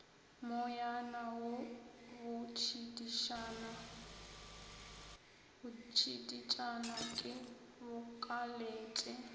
moyana wo botšiditšana ke bokaletše